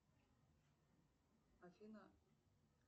афина